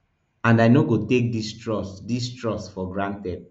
and i no go take dis trust dis trust for granted